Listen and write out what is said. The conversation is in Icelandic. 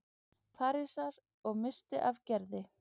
Parísar- og missti af Gerði.